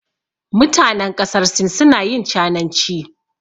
Mutanen ƙasar Sin suna yin cananci.